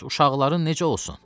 Bəs uşaqların necə olsun?